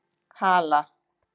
Hala